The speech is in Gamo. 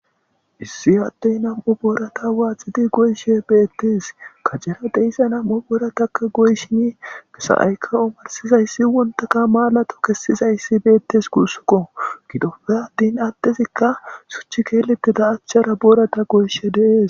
Issi hattey nam7u boorata waaxidi goyshe beettes kacera deyssa nam7u boorataka goyshin kesa7aykka omarsizayssi wontaka maalato kessizayssi beettes guussuko gidoppe attin attezikka such keeletida achchara boorata goyshe deees.